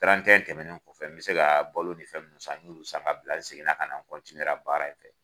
tɛmɛnen kɔfɛ bɛ se ka balo ni fɛn mun san n y'olu san ka bila n seginna ka na n baara in fɛ.